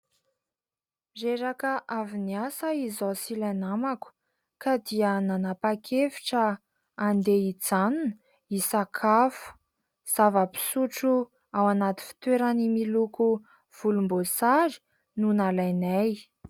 Reraka avy niasa izaho sy ilay namako ka dia nanapa-kevitra handeha hijanona hisakafo. Zava-pisotro ao anaty fitoerany miloko volomboasary no nalainay.